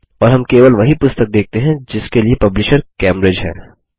और हम केवल वही पुस्तक देखते हैं जिसके लिए पब्लिशर कैम्ब्रिज है